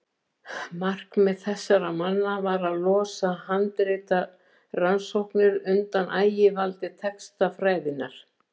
Markmið þessara manna var að losa handritarannsóknir undan ægivaldi textafræðinnar.